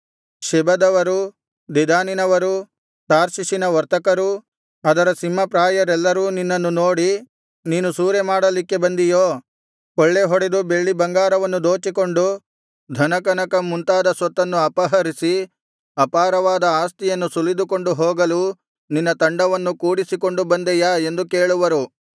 ಶೆಬದವರೂ ದೆದಾನಿನವರೂ ತಾರ್ಷೀಷಿನ ವರ್ತಕರೂ ಅದರ ಸಿಂಹಪ್ರಾಯರೆಲ್ಲರೂ ನಿನ್ನನ್ನು ನೋಡಿ ನೀನು ಸೂರೆಮಾಡಲಿಕ್ಕೆ ಬಂದಿಯೋ ಕೊಳ್ಳೆಹೊಡೆದು ಬೆಳ್ಳಿಬಂಗಾರವನ್ನು ದೋಚಿಕೊಂಡು ಧನ ಕನಕ ಮುಂತಾದ ಸೊತ್ತನ್ನು ಅಪಹರಿಸಿ ಅಪಾರವಾದ ಆಸ್ತಿಯನ್ನು ಸುಲಿದುಕೊಂಡು ಹೋಗಲು ನಿನ್ನ ತಂಡವನ್ನು ಕೂಡಿಸಿಕೊಂಡು ಬಂದೆಯಾ ಎಂದು ಕೇಳುವರು